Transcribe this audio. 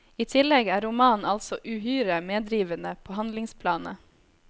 I tillegg er romanen altså uhyre medrivende på handlingsplanet.